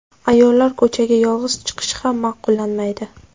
Ayollar ko‘chaga yolg‘iz chiqishi ham ma’qullanmaydi.